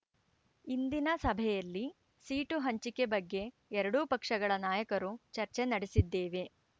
ಇಂದಿನ ಸಭೆಯಲ್ಲಿ ಸೀಟು ಹಂಚಿಕೆ ಬಗ್ಗೆ ಎರಡೂ ಪಕ್ಷಗಳ ನಾಯಕರು ಚರ್ಚೆ ನಡೆಸಿದ್ದೇವೆ